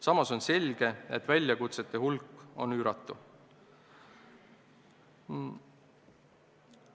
Samas on selge, et väljakutsete hulk on üüratu.